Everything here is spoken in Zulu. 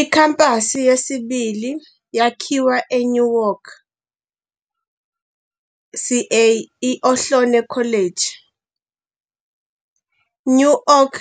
Ikhampasi yesibili yakhiwa eNewark, CA, I-Ohlone College Newark